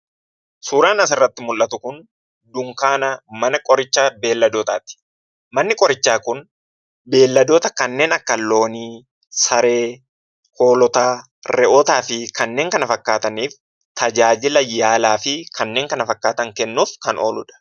Suuraan asirratti mul'atu kun dunkaana mana qoricha beeyladootaati. Manni qorichaa kun beeyladoota kanneen akka loonii, saree, hoolotaa, re'ootaa fi kanneen kana fakkaataniif tajaajila yaalaa fi kanneen kana fakkaatan kennuuf kan oolu dha.